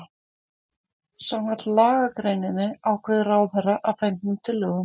Samkvæmt lagagreininni ákveður ráðherra að fengnum tillögum